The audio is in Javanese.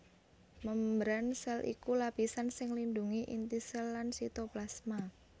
Mémbran sèl iku lapisan sing nglindhungi inti sèl lan sitoplasma